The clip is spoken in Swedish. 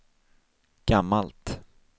gammalt